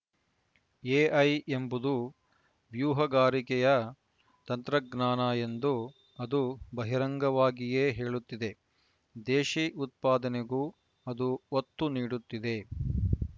AI ಎಂಬುದು ವ್ಯೂಹಗಾರಿಕೆಯ ತಂತ್ರಜ್ಞಾನ ಎಂದು ಅದು ಬಹಿರಂಗವಾಗಿಯೇ ಹೇಳುತ್ತಿದೆ ದೇಶಿ ಉತ್ಪಾದನೆಗೂ ಅದು ಒತ್ತು ನೀಡುತ್ತಿದೆ